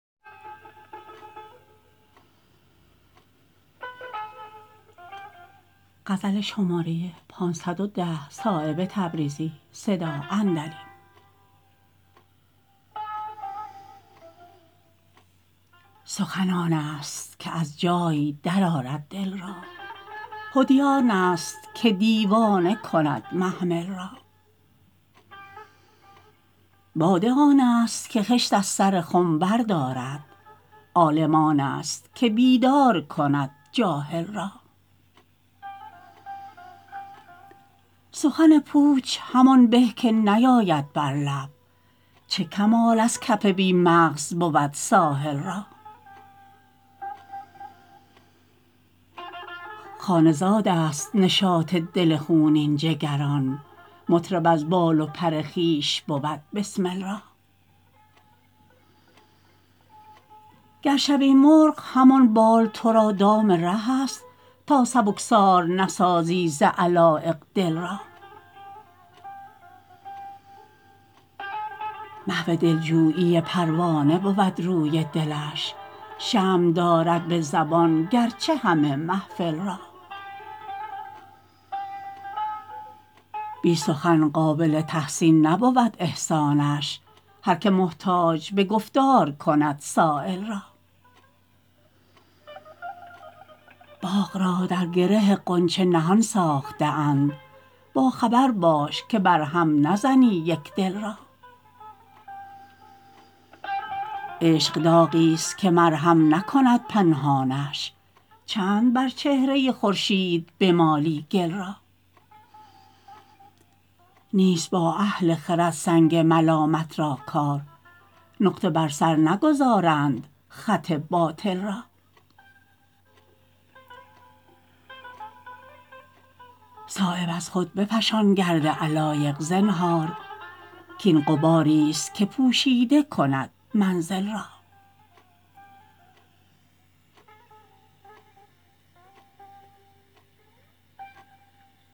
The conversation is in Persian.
سخن آن است که از جای درآرد دل را حدی آن است که دیوانه کند محمل را باده آن است که خشت از سر خم بردارد عالم آن است که بیدار کند جاهل را سخن پوچ همان به که نیاید بر لب چه کمال از کف بی مغز بود ساحل را خانه زادست نشاط دل خونین جگران مطرب از بال و پر خویش بود بسمل را گر شوی مرغ همان بال ترا دام ره است تا سبکبار نسازی ز علایق دل را محو دلجویی پروانه بود روی دلش شمع دارد به زبان گرچه همه محفل را بی سخن قابل تحسین نبود احسانش هر که محتاج به گفتار کند سایل را باغ را در گره غنچه نهان ساخته اند با خبر باش که بر هم نزنی یک دل را عشق داغی است که مرهم نکند پنهانش چند بر چهره خورشید بمالی گل را نیست با اهل خرد سنگ ملامت را کار نقطه بر سر نگذارند خط باطل را صایب از خود بفشان گرد علایق زنهار کاین غباری است که پوشیده کند منزل را